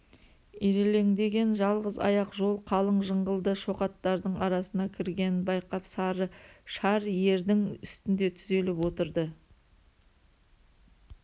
ирелеңдеген жалғыз аяқ жол қалың жыңғылды шоқаттардың арасына кіргенін байқап сары шар ердің үстінде түзеліп отырды